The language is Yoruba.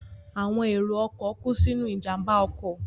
Àwọn èrò ọkọ̀ kú sínú ìjàmbá ọkọ̀